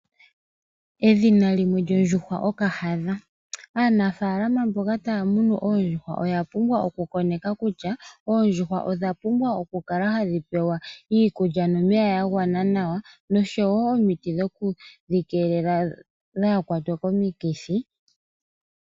Edhina limwe lyondjuhwa okahadha. Aanafaalama mboka taamunu oondjuhwa oyapumbwa okukoneka kutya, oondjuhwa odhapubwa okukala hadhipewa iikulya nomeya yagwana nawa. Noshowo omiti dhoku dhikeelela dhaakwatwe komikithi.